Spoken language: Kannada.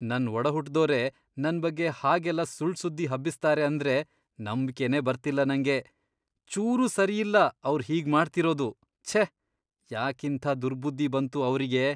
ನನ್ ಒಡಹುಟ್ದೋರೇ ನನ್ ಬಗ್ಗೆ ಹಾಗೆಲ್ಲ ಸುಳ್ಳ್ ಸುದ್ದಿ ಹಬ್ಬಿಸ್ತಾರೆ ಅಂದ್ರೆ ನಂಬ್ಕೆನೇ ಬರ್ತಿಲ್ಲ ನಂಗೆ! ಚೂರೂ ಸರಿಯಲ್ಲ ಅವ್ರ್ ಹೀಗ್ ಮಾಡ್ತಿರೋದು.. ಛೇ! ಯಾಕಿಂಥ ದುರ್ಬುದ್ಧಿ ಬಂತು ಅವ್ರಿಗೆ.